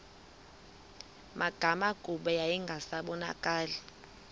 magama kuba yayingasabonakali